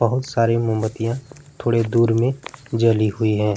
बहुत सारी मोमबत्तियां थोड़े दूर में जली है।